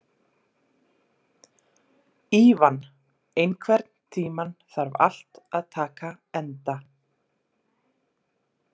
Ívan, einhvern tímann þarf allt að taka enda.